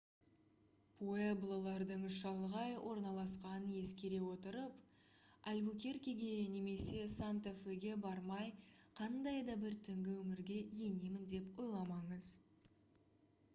пуэблолардың шалғай орналасқанын ескере отырып альбукеркеге немесе санта феге бармай қандай да бір түнгі өмірге енемін деп ойламаңыз